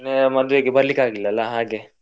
ಮದ್ವೆಗೆ ಬರ್ಲಿಕೆ ಆಗ್ಲಿಲ್ಲ ಅಲ್ಲ ಹಾಗೆ.